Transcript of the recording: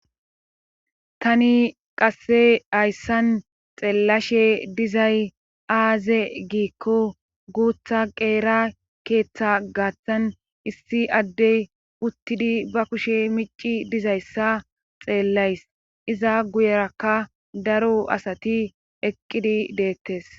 tani qasse hayssan xeellashe dizay aaze giikko guutha qeera keeththa gaaththan issi addey uttidi ba kushe mici dizayssa xeellays iza guyerakka daro asati eqqidi deettes